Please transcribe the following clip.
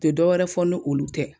U te dɔwɛrɛ fɔ ni olu tɛ